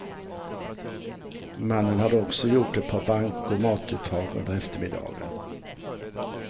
Mannen hade också gjort ett par bankomatuttag under eftermiddagen.